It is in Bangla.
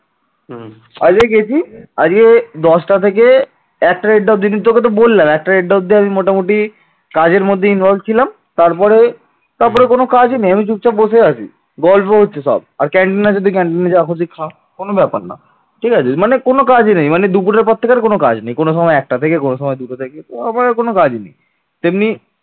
আর গল্প হচ্ছে সব আর canteen আছে তুই canteen যা খুশি খা কোন ব্যাপার না। ঠিক আছে মানে কোন কাজই নেই মানে দুপুরের পর থেকে কোন কাজে নেই। কোন সময় একটা থেকে কোন সময় দুটো থেকে তারপর আর কোন কাজ নেই। তেমনি